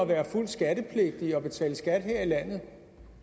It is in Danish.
være fuldt skattepligtige og betale skat her i landet